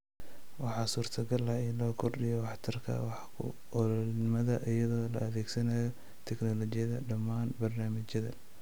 Waxaa suurtogal ah in la kordhiyo waxtarka-wax-ku-oolnimada iyadoo la adeegsanayo tignoolajiyada dhammaan barnaamijyada.